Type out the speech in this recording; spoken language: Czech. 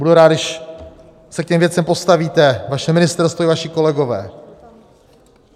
Budu rád, když se k těm věcem postavíte, vaše ministerstvo i vaši kolegové.